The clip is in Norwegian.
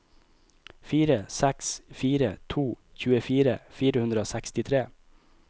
fire seks fire to tjuefire fire hundre og sekstitre